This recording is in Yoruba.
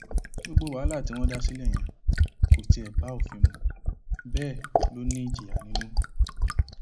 gbogbo wàhálà tí wọn dá sílẹ yẹn kò tiẹ bá òfin mu bẹẹ lọ ní ìjìyà nínú